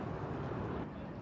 Bütün yollar gəlir bura.